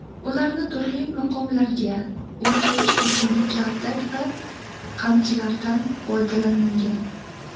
Ularni turli maqomlarga o‘rgatish uchun kaltak va qamchidan foydalanilgan.